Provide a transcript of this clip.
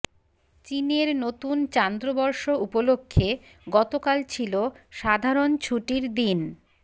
চীনের নতুন চান্দ্রবর্ষ উপলক্ষে গতকাল ছিল সাধারণ ছুটির দিন